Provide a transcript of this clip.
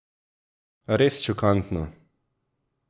Res šokantno!